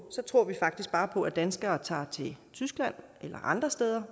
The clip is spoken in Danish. så tror vi faktisk bare på at danskere tager til tyskland eller andre steder